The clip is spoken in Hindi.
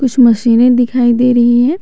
कुछ मशीने दिखाई दे रही है।